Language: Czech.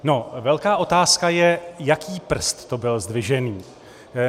No, velká otázka je, jaký prst to byl zdvižený.